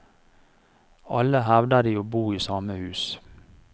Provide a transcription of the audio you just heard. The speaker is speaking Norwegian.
Alle hevder de å bo i samme hus.